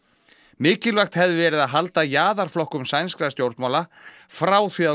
mikilvægt hefði verið að halda sænskra stjórnmála frá því að